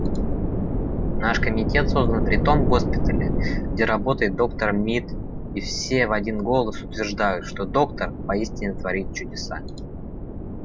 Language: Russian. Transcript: наш комитет создан при том госпитале где работает доктор мид и все в один голос утверждают что доктор поистине творит чудеса